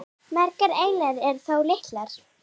Margar eyjanna eru þó litlar.